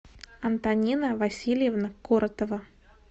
антонина васильевна коротова